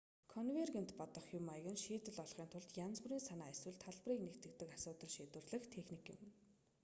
конвергент бодох хэв маяг нь шийдэл олохын тулд янз бүрийн санаа эсвэл талбарыг нэгтгэдэг асуудал шийдвэрлэх техник юм